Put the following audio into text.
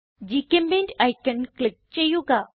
ഗ്ചെമ്പെയിന്റ് icon click ചെയ്യുക